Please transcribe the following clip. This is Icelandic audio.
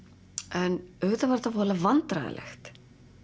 en auðvitað var þetta voðalega vandræðalegt